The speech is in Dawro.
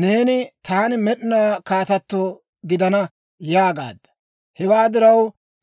Neeni, ‹Taani med'inaw kaatato gidana› yaagaadda. Hewaa diraw,